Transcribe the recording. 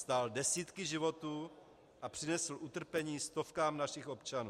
Stál desítky životů a přinesl utrpení stovkám našich občanů.